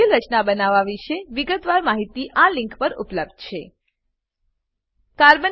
જટિલ રચના બનાવવા વિશે વિગતવાર માહિતી આ લીંક પર ઉપલબ્ધ છે httpenwikipediaorgwikiSpin states d electrons